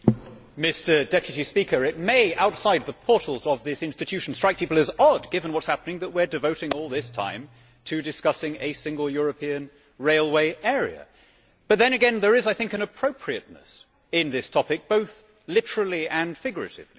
Mr President, it may outside the portals of this institution strike people as odd, given what is happening, that we are devoting all this time to discussing a single European railway area, but then again there is, I think, an appropriateness in this topic, both literally and figuratively